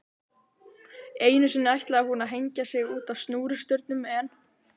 Einu sinni ætlaði hún að hengja sig útá snúrustaurnum en